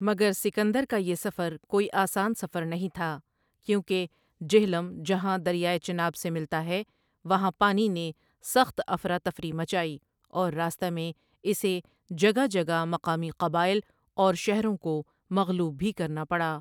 مگر سکندر کا یہ سفر کوئی آسان سفر نہیں تھا کیوں کہ جہلم جہاں دریائے چناب سے ملتا ہے وہاں پانی نے سخت افراتفریخ مچائی اور راستہ میں اسے جگہ جگہ مقامی قبائل اور شہروں کو مغلوب بھی کرنا پڑا۔